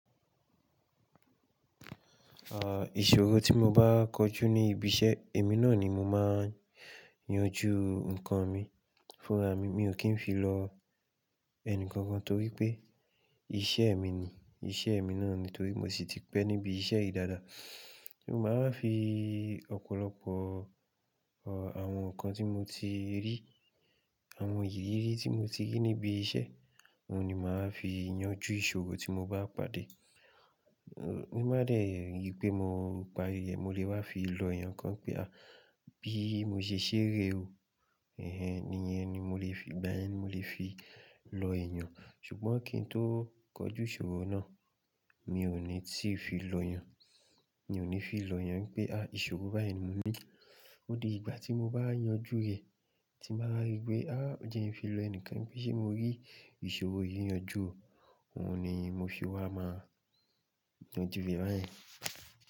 À, ìṣòro tí mo bá kojú ní ibi iṣẹ́, èmi náà ni mo máa ń yanjú nǹkan mi fúnra mi. Mi ò kí ń fi lọ ẹni kankan torí pé iṣẹ́ mi ni, iṣẹ́ mi náà ni torí mo sì ti pẹ́ níbi iṣẹ́ yìí dáadáa. Mo máa ń fi ọ̀pọ̀lọpọ̀ àwọn nǹkan tí mo ti rí, àwọn ìrírí tí mo ti rí níbi iṣẹ́, òun ni màá fi yanjú ìṣòro tí mo bá pàdé. Nígbà díẹ̀ yí pé mo pa yè, mo lè wá fi lọ ẹ̀yàn kan pé à bí mo ṣe ṣeré o. Ẹ̀hen níyẹn ni mo lè fi, ìgbà yẹn ni mo lè fi lọ ẹ̀yàn. Ṣùgbọ́n kí n tó kọjú ìṣòro náà, mi ò ní tìí fi lọ yàn, mi ò ní fi lọ yàn pé à ìṣòro báyìí ni mo ní. Odidi ìgbà tí mo bá yanjú rẹ̀ tí màá rí pé à ń jẹ́ ẹ fi lọ ẹnìkan bí ṣe mo rí ìṣòro yìí yanjú o, òun ni mo fi wá máa yanjú rẹ báyìí.